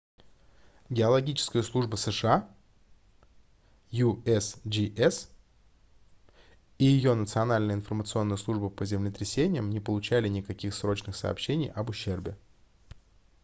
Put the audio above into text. геологическая служба сша usgs и ее национальная информационная служба по землетрясениям не получали никаких срочных сообщений об ущербе